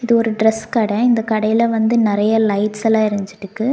ஒரு டிரஸ் கட இந்த கடல வந்து நெறைய லைட்ஸ்லா எரிஞ்சிட்டுக்கு.